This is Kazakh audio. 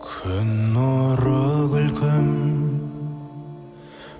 күн нұры күлкің